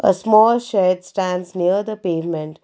A small sheds stands near the pavement.